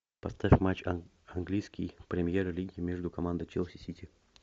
поставь матч английской премьер лиги между командой челси сити